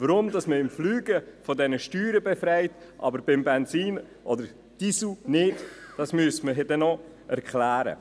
Weshalb man das Fliegen von diesen Steuern befreit, das Benzin oder den Diesel aber nicht, das müsste man noch erklären.